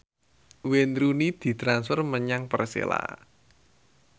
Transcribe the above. Wayne Rooney ditransfer menyang Persela